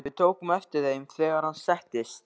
Við tókum eftir þeim, þegar hann settist.